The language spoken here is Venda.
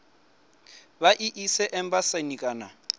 vha i ise embasini kana